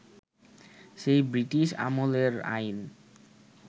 সেই ব্রিটিশ আমলের আইন